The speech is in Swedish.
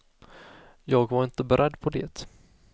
Jag var inte beredd på det.